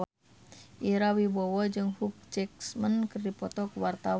Ira Wibowo jeung Hugh Jackman keur dipoto ku wartawan